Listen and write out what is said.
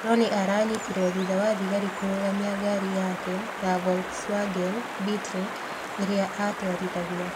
Rooney aranyitirũo thutha wa thigari kũrũgamia ngaari yake ya Volkswagen Beetle ĩrĩa aatwarithagia.